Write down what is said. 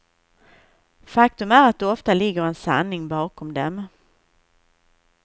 Faktum är att det ofta ligger en sanning bakom dem.